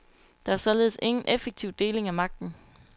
Der var således ingen effektiv deling af magten.